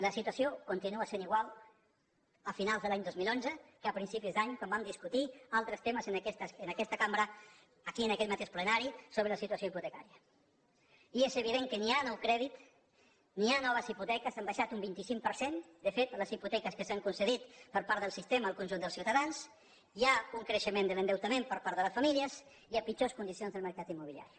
la situació continua sent igual a finals de l’any dos mil onze que a principis d’any quan vam discutir altres temes en aquesta cambra aquí en aquest mateix plenari sobre la situació hipotecària i és evident que ni hi ha nou crèdit ni hi ha noves hipoteques han baixat un vint cinc per cent de fet les hipoteques que s’han concedit per part del sistema al conjunt dels ciutadans hi ha un creixement de l’endeutament per part de les famílies i hi ha pitjors condicions del mercat immobiliari